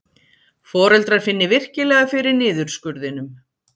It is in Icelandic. Foreldrar finni virkilega fyrir niðurskurðinum